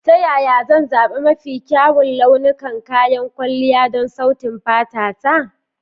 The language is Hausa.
Ta yaya zan zaɓi mafi kyawun launukan kayan kwalliya don sautin fata ta?